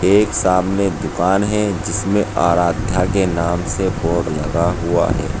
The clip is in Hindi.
एक सामने दुकान है जिसमें आराध्या के नाम से बोर्ड लगा हुआ है।